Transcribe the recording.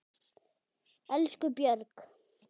Elsku Björg.